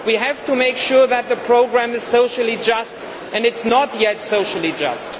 We have to make sure that the programme is socially just and it is not yet socially just.